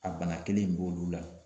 A bana kelen in b'olu la